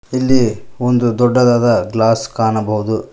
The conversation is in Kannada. ಇಲ್ಲಿ ಒಂದು ದೊಡ್ಡದಾದ ಗ್ಲಾಸ್ ಕಾಣಬಹುದು.